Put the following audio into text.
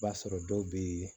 B'a sɔrɔ dɔw bɛ yen